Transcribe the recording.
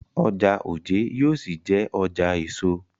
Ọjà Ojé yóò ṣì jé ọjà èso.